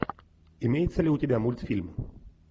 имеется ли у тебя мультфильм